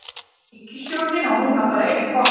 Ríkisstjórnin á núna bara einn kost